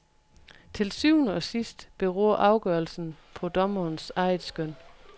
Til syvende og sidst beror afgørelsen på dommerens eget skøn.